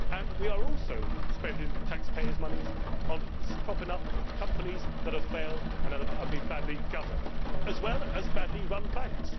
We are also spending taxpayers' monies on propping up companies that have failed and are being badly governed, as well as badly run banks.